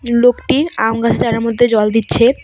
লোকটি আমগাছ চারার মধ্যে জল দিচ্ছে।